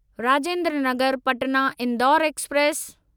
Rajendra Nagar Patna Indore express